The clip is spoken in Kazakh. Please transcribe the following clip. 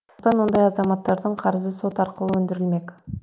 сондықтан ондай азаматтардың қарызы сот арқылы өндірілмек